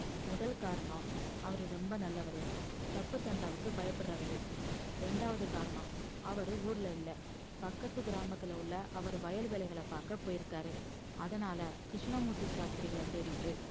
முதல் காரணம் அவரு ரொம்ப நல்லவரு தப்பு தண்டாவுக்கு பயப்படுறவரு, இரண்டாவது காரணம் அவரு ஊர்ல இல்ல பக்கத்து கிராமத்துல உள்ள அவர் வயல் வேலைகள பார்க்க போயிருக்காரு அதனால கிருஷ்ணமூர்த்தி சாஸ்திரிகளை தேடிட்டு